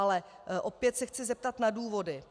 Ale opět se chci zeptat na důvody.